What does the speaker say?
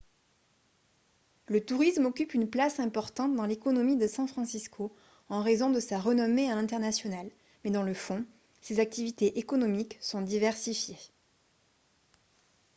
le tourisme occupe une place importante dans l'économie de san francisco en raison de sa renommée à l'international mais dans le fond ses activités économiques sont diversifiées